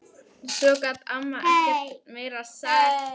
Svo gat amma ekkert meira sagt.